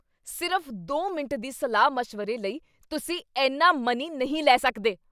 ਸਿਰਫ਼ ਦੋ ਮਿੰਟ ਦੀ ਸਲਾਹ ਮਸ਼ਵਰੇ ਲਈ ਤੁਸੀਂ ਇੰਨਾ ਮਨੀ ਨਹੀਂ ਲੈ ਸਕਦੇ!